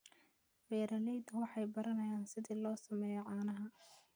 Beeraleydu waxay baranayaan sida loo sameeyo caanaha.